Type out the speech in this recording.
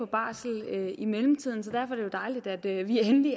barsel i mellemtiden så derfor er det jo dejligt at vi endelig